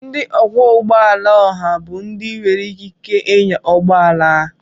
Ndị ọkwọ ụgbọ ala oha bụ ndị nwere ikike ịnya ụgbọ ala